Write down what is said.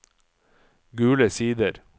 Gule Sider